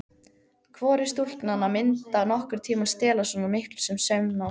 Hvorug stúlknanna myndi nokkurn tíma stela svo miklu sem saumnál.